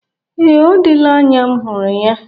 Ee, ọ dịla anya m hụrụ ya.